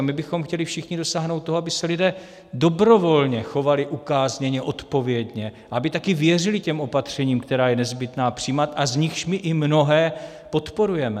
A my bychom chtěli všichni dosáhnout toho, aby se lidé dobrovolně chovali ukázněně, odpovědně, aby také věřili těm opatřením, která je nezbytné přijímat a z nichž my i mnohé podporujeme.